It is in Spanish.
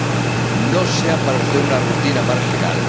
Que no sea para ustedes una rutina marginal.